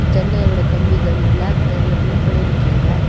ஜன்னலோட கம்பிகள் பிளாக் கலர்ல பெயிண்ட் பண்ணி இருக்காங்க.